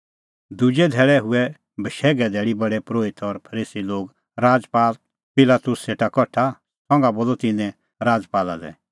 दुजै धैल़ै हुऐ बशैघे धैल़ी प्रधान परोहित और फरीसी लोग राजपाल पिलातुसा सेटा कठा संघा बोलअ तिन्नैं राजपाला लै